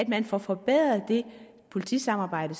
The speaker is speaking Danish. man får forbedret det politisamarbejde